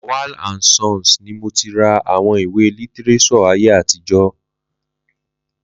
Lawal and Sons ni mo ti ra àwọn ìwé lítíréṣọ̀ ayé àtijọ́